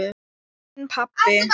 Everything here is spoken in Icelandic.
Minn pabbi.